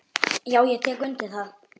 Já, ég tek undir það.